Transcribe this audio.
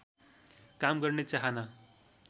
काम गर्ने चाहना